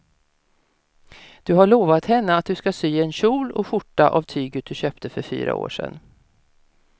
Du har lovat henne att du ska sy en kjol och skjorta av tyget du köpte för fyra år sedan.